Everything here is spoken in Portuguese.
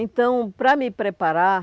Então, para me preparar,